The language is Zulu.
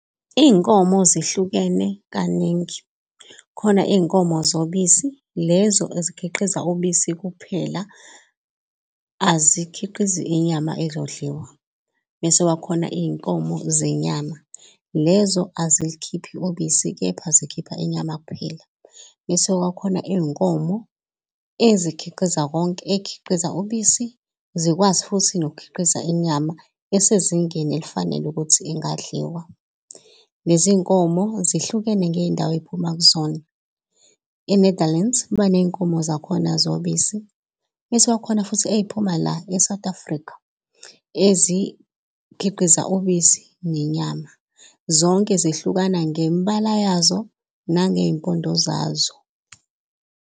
Iy'nkomo zihlukene kaningi. Khona iy'nkomo zobisi lezo ezikhiqiza ubisi kuphela, azikhiqizi inyama ezodliwa. Mese kuba khona iy'nkomo zenyama lezo azilukhiphi ubisi, kepha zikhipha inyama kuphela. Mese kuba khona iy'nkomo, ezikhiqiza konke, ey'khiqiza ubisi zikwazi futhi nokukhiqiza inyama isezingeni elifanele ukuthi ingadliwa. Lezi iy'nkomo zihlukene ngey'ndawo ey'phuma kuzona e-Netherlands baney'nkomo zakhona zobisi. Mese kuba khona futhi ey'phuma la e-South Africa ezikhiqiza ubisi nenyama zonke zehlukana ngembala yazo nangey'mpondo zazo.